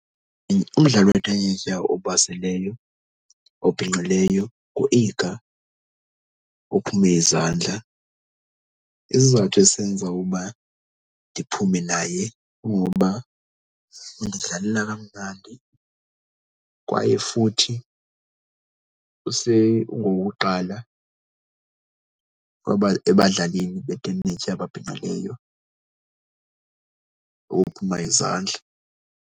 Umdlali wentenetya obaseleyo obhinqileyo nguIga ophume izandla. Isizathu esenza ukuba ndiphume naye kungokuba undidlalela kamnandi kwaye futhi ungowokuqala ebadlalini betenetya ababhinqileyo ukuphuma izandla.